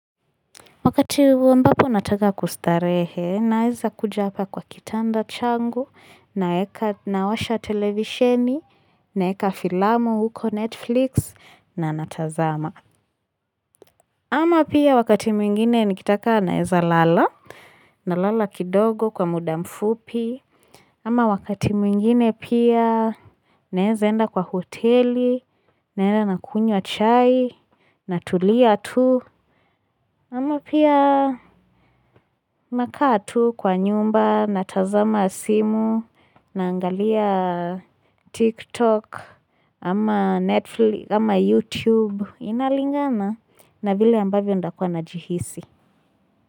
Wakati ambako nataka kustarehe, naeza kuja hapa kwa kitanda changu, nawasha televisheni, naweka filamu huko Netflix, na natazama. Ama pia wakati mwingine nikitaka naweza lala, na lala kidogo kwa muda mfupi. Ama wakati mwingine pia naweza enda kwa hoteli, naenda na kunywa ahai, na tulia tu. Ama pia nakaa tu kwa nyumba na tazama simu naangalia TikTok ama YouTube inalingana na vile ambavyo ndakua najihisi.